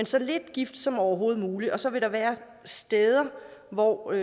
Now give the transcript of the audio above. så lidt gift som overhovedet muligt så vil der være steder og